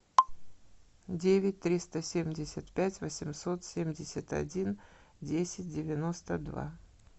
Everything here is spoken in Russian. девять триста семьдесят пять восемьсот семьдесят один десять девяносто два